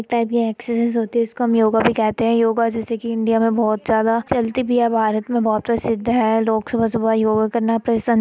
एक टाइप की ये एक्सर्साइज़ होती है। इसक हम योगा भी कहते हैं। योगा जैसे कि इंडिया में बोहत ज्यादा चलती भी है। भारत में बोहत प्रसिद्ध है। लोक सुबह-सुबह योगा करना पसंद --